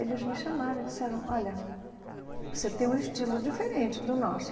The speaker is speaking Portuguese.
Eles me chamaram e disseram olha você tem um estilo diferente do nosso.